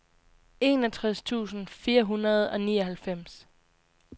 enogtres tusind fire hundrede og nioghalvfems